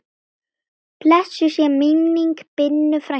Blessuð sé minning Binnu frænku.